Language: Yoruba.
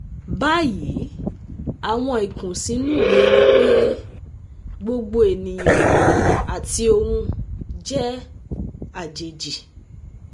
Bayi awọn ikunsinu mi ni pe gbogbo eniyan ati ohun jẹ ajeji